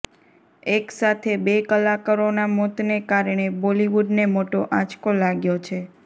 એક સાથે બે કલાકારોના મોતને કારણે બોલીવૂડને મોટો આંચકો લાગ્યો છે